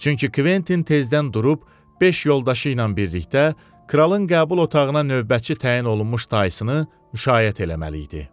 Çünki Kventin tezdən durub beş yoldaşı ilə birlikdə kralın qəbul otağına növbətçi təyin olunmuş dayısını müşayiət eləməli idi.